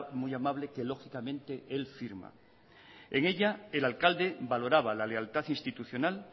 muy amable que lógicamente él firma en ella el alcalde valoraba la lealtad institucional